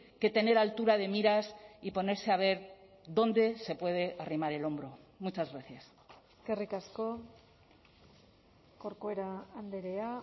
que tener altura de miras y ponerse a ver dónde se puede arrimar el hombro muchas gracias eskerrik asko corcuera andrea